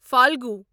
فالگو